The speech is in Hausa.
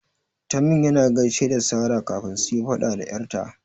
Tamim yana gaishe da Sara kafin suyi faɗa da 'yar ta.